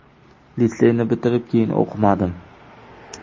Litseyni bitirib, keyin o‘qimadim.